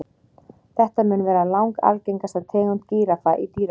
Þetta mun vera langalgengasta tegund gíraffa í dýragörðum.